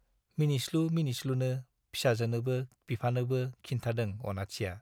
मिनिस्लु मिनिस्लुनो फिसाजोनोबो बिफानोबो खिन्थादों अनाथिया।